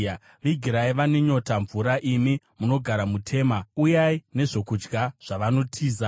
vigirai vane nyota mvura; imi munogara muTema, uyai nezvokudya zvavanotiza.